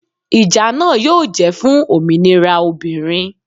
Ìjà náà yóò jẹ́ fún òmìnira obìnrin